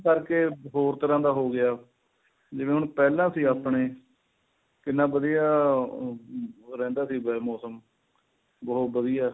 ਕਰਕੇ ਹੋਰ ਤਰ੍ਹਾਂ ਦਾ ਹੋ ਗਿਆ ਜਿਵੇਂ ਹੁਣ ਪਹਿਲਾ ਸੀ ਆਪਣੇ ਕਿੰਨਾ ਵਧੀਆ ਉਹ ਰਹਿੰਦਾ ਸੀਗਾ ਮੋਸਮ ਬਹੁਤ ਵਧੀਆ